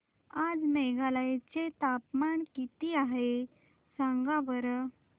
आज मेघालय चे तापमान किती आहे सांगा बरं